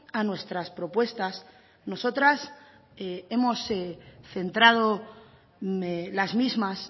a nuestras propuestas nosotras hemos centrado las mismas